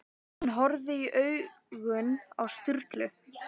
Hann horfði í augun á Sturlu.